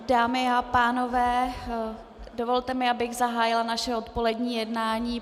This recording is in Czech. Dámy a pánové, dovolte mi, abych zahájila naše odpolední jednání.